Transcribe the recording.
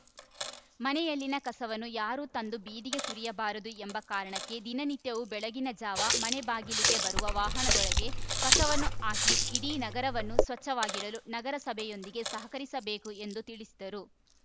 ಮನೆಯಲ್ಲಿನ ಕಸವನ್ನು ಯಾರು ತಂದು ಬೀದಿಗೆ ಸುರಿಯಬಾರದು ಎಂಬ ಕಾರಣಕ್ಕೆ ದಿನನಿತ್ಯವೂ ಬೆಳಗಿನ ಜಾವ ಮನೆ ಬಾಗಿಲಿಗೆ ಬರುವ ವಾಹನದೊಳಗೆ ಕಸವನ್ನು ಹಾಕಿ ಇಡೀ ನಗರವನ್ನು ಸ್ವಚ್ಛವಾಗಿಡಲು ನಗರಸಭೆಯೊಂದಿಗೆ ಸಹಕರಿಸಬೇಕು ಎಂದು ತಿಳಿಸಿದರು